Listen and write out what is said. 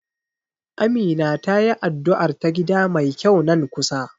Amina tayi addu'ar ta gida mai kyau nan kusa.